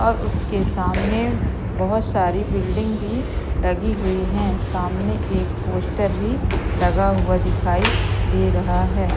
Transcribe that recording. और उसके सामने बहोत सारी बिल्डिंग भी लगी हुई है सामने एक पोस्टर भी लगा हुआ दिखाई दे रहा है।